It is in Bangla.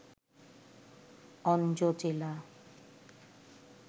অনজো জেলা